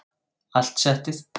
Allt settið